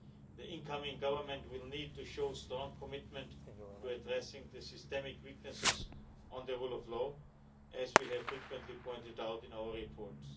The incoming government will need to show strong commitment to addressing the systemic weaknesses in the rule of law, as we have frequently pointed out in our reports.